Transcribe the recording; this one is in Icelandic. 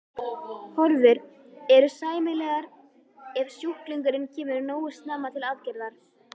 Horfur eru sæmilegar ef sjúklingurinn kemur nógu snemma til aðgerðar.